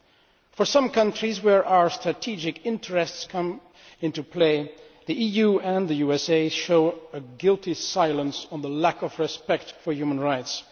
In the case of some countries, where our strategic interests come into play, the EU and the USA show a guilty silence on the lack of respect for human rights.